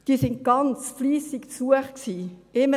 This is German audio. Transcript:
Diese wurden ganz fleissig besucht;